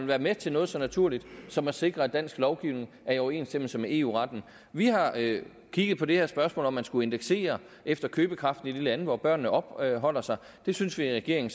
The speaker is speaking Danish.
være med til noget så naturligt som at sikre at dansk lovgivning er i overensstemmelse med eu retten vi har kigget på det her spørgsmål om man skulle indeksere efter købekraften i de lande hvor børnene opholder sig det synes vi i regeringen